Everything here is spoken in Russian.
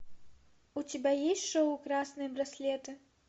у тебя есть шоу красные браслеты